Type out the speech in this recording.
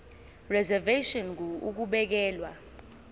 reservation ngur ukubekelwa